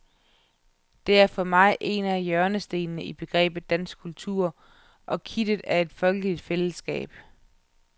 Det er for mig en af hjørnestenene i begrebet dansk kultur og kittet i et folkeligt fællesskab.